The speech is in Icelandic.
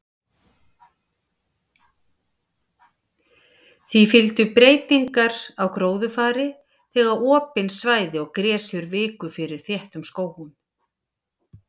Því fylgdu breytingar á gróðurfari þegar opin svæði og gresjur viku fyrir þéttum skógum.